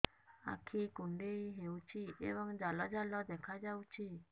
ଆଖି କୁଣ୍ଡେଇ ହେଉଛି ଏବଂ ଜାଲ ଜାଲ ଦେଖାଯାଉଛି